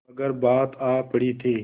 मगर बात आ पड़ी थी